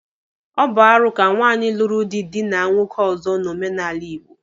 Ọ bụ arụ ka nwaanyị lụrụ di dịna nwoke ọzọ n'omenala Igbo.